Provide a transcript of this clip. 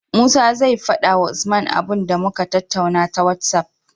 Musa zai fada wa usman abun da muka tattaunawa ta whatsapp